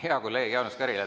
Hea kolleeg Jaanus Karilaid!